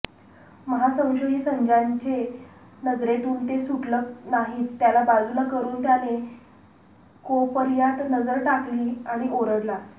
महासंशयी संज्याच्या नजरेतुन ते सुटंल नाहीच त्याला बाजुला करुन त्याने कोपर्यात नजर टाकली आणि ओरडला